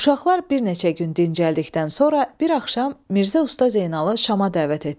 Uşaqlar bir neçə gün dincəldikdən sonra bir axşam Mirzə Usta Zeynalı Şama dəvət etdi.